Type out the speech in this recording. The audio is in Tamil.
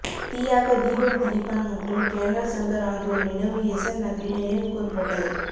தியாக தீபம் திலீபன் மற்றும் கேணல் சங்கர் ஆகியோர் நினைவு எசன் நகரில் நினைவுகூரப்பட்டது